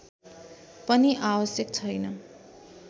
पनि आवश्यक छैन